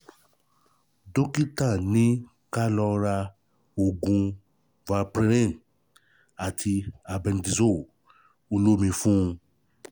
Dókítà ní kí a lọ ra oògùn Valparin àti Albendazole olómi fún un